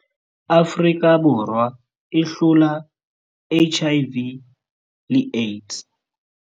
Afrika Borwa e hlola HIV le AIDS.